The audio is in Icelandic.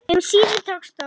Um síðir tókst þó